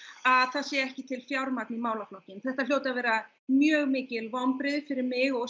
að sé ekki til fjármagn í málaflokknum þetta hljóta að vera mjög mikil vonbrigði fyrir mig og